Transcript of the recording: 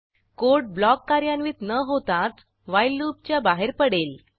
code block कार्यान्वित न होताच व्हाईल लूपच्या बाहेर पडेल